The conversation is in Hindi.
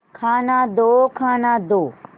खाना दो खाना दो